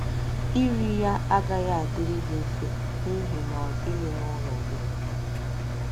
Iri ya agaghị adịrị gị mfe n’ihi na ọ dịghị n’ụlọ gị.